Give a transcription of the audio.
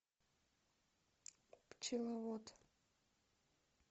пчеловод